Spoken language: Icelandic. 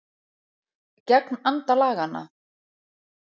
Gegn anda laganna